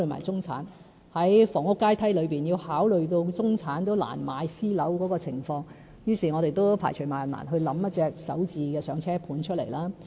在房屋階梯中，我們要考慮中產難買私樓的情況，於是，我們便排除萬難構思出"首置上車盤"。